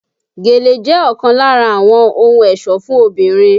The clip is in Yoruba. Gèlè jẹ́ ọ̀kan lára àwọn ohun ẹ̀sọ́ fún obìnrin